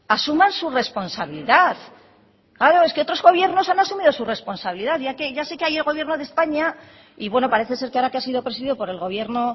asuman su responsabilidad claro es que otros gobiernos han asumido su responsabilidad ya sé que el gobierno de españa y bueno parece ser que ahora que ha sido presidido por el gobierno